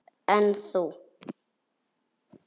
En þú?